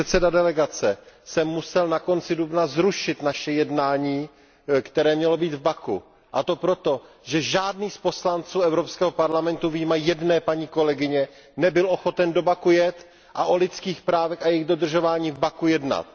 Jako předseda delegace jsem musel na konci dubna zrušit naše jednání, které mělo být v Baku, a to proto, že žádný z poslanců Evropského parlamentu, vyjma jedné paní kolegyně, nebyl ochoten do Baku jet a o lidských právech a jejich dodržování v Baku jednat.